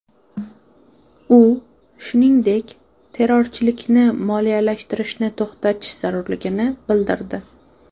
U, shuningdek, terrorchilikni moliyalashtirishni to‘xtatish zarurligini bildirdi.